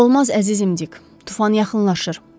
Olmaz əzizim Dik, tufan yaxınlaşır.